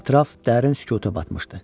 Ətraf dərin sükuta batmışdı.